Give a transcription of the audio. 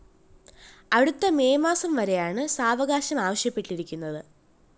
അടുത്ത മെയ്‌ മാസം വരെയാണ്‌ സാവകാശം ആവശ്യപ്പെട്ടിരിക്കുന്നത്‌